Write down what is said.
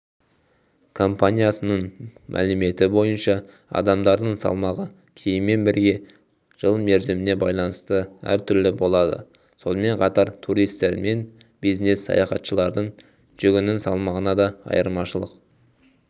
компаниясының мәліметі бойынша адамдардың салмағы киіммен бірге жыл мерзіміне байланысты әртүрлі болады сонымен қатар туристер мен бизнес-саятхатшылардың жүгінің салмағында да айырмашылық